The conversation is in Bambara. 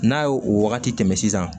N'a ye o wagati tɛmɛn sisan